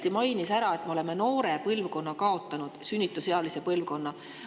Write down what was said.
Ta mainis ära, et me oleme kaotanud noore, sünnitusealise põlvkonna.